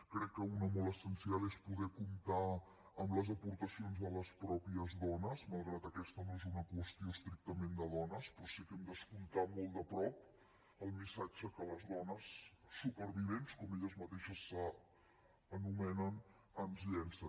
crec que una molt essencial és poder comptar amb les aportacions de les mateixes dones malgrat que aquesta no és una qüestió estrictament de dones però sí que hem d’escoltar molt de prop el missatge que les dones supervivents com elles mateixes s’anomenen ens llancen